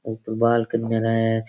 ऊपर बाल के करे है।